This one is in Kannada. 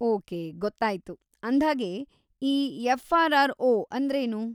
ಓಕೆ, ಗೊತ್ತಾಯ್ತು. ಅಂದ್ಹಾಗೆ, ಈ ಎಫ್.ಆರ್.‌ಆರ್.‌ಓ. ಅಂದ್ರೇನು?